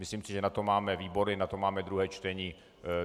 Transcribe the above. Myslím si, že na to máme výbory, na to máme druhé čtení.